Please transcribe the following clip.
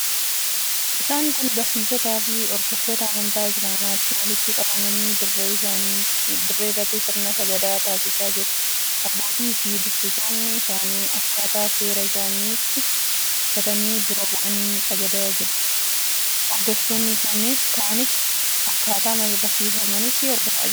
Isaan kun barsiisotaafi hordoftoota amantaa Isilaamaati. Walitti qabamanii dirree irratti sirna sagadaa taasisaa jiru. Abbootiifi dursitoonni isaanii akkaataa seera isaaniitti uffatanii dura bu'anii sagadaa jiru. Hordoftoonni kaanis akkaataama barsiifata amantaa isaaniitti sagadaa jiru.